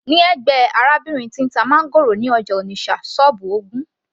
ní ẹ̀gbẹ́ arábìnrin tí ń ta máńgòrò ní ọjà Onitsha, sọ́ọ́bù ogún